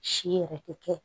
Si yɛrɛ tɛ kɛ